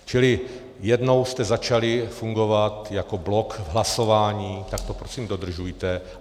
Čili jednou jste začali fungovat jako blok v hlasování, tak to prosím dodržujte.